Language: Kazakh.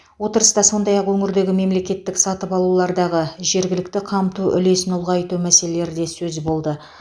отырыста сондай ақ өңірдегі мемлекеттік сатып алулардағы жергілікті қамту үлесін ұлғайту мәселелері де сөз болды